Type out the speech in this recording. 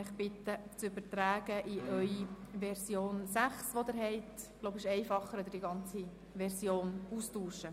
Ich bitte Sie, diese in Ihre Version 6 zu übertragen beziehungsweise die ganze Version auszutauschen.